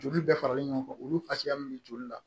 Joli bɛɛ faralen ɲɔgɔn kan olu fasiya min bɛ joli la